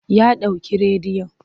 Ya ɗauke rediyon.